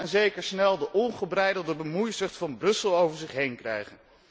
Ze zullen vast en zeker snel de ongebreidelde bemoeizucht van Brussel over zich heen krijgen.